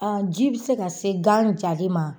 Ɔ ji bɛ se ka se gan jalen ma.